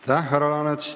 Aitäh, härra Laanet!